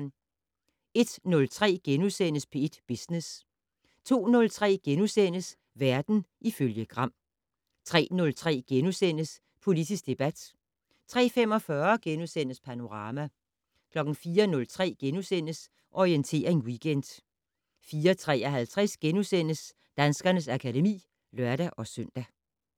01:03: P1 Business * 02:03: Verden ifølge Gram * 03:03: Politisk debat * 03:45: Panorama * 04:03: Orientering Weekend * 04:53: Danskernes akademi *(lør-søn)